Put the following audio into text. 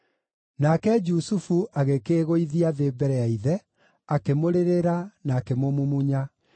Nake Jusufu agĩkĩĩgũithia thĩ mbere ya ithe, akĩmũrĩrĩra na akĩmũmumunya.